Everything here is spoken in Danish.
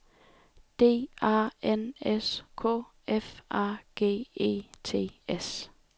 D A N S K F A G E T S